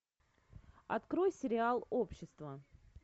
открой сериал общество